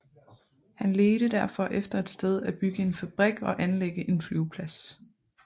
Han ledte derfor efter et sted at bygge en fabrik og anlægge en flyveplads